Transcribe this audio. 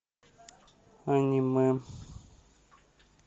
аниме